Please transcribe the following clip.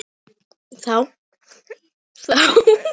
Þá sá hin hringinn:-Ætlarðu ekki að taka hann upp?